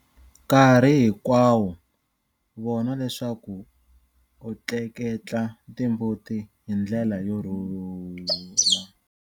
Nkarhi hinkwawo vona leswaku u tleketla timbuti hi ndlela yo rhula.